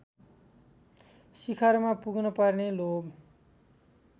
शिखरमा पुग्नुपर्ने लोभ